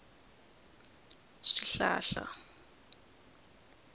swihlahla